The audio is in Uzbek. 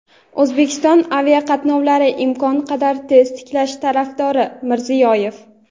O‘zbekiston aviaqatnovlarni imkon qadar tez tiklash tarafdori – Mirziyoyev.